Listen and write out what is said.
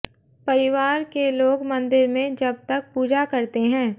परिवार के लोग मंदिर में जब तक पूजा करते हैं